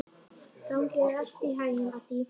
Gangi þér allt í haginn, Addý.